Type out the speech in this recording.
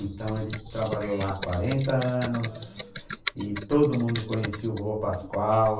Então, ele trabalhou lá quarenta anos, ãh, e todo mundo conhecia o vô Pascoal.